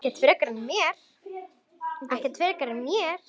Ekkert frekar en mér.